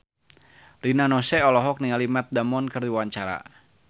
Rina Nose olohok ningali Matt Damon keur diwawancara